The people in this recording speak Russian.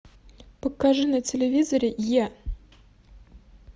покажи на телевизоре е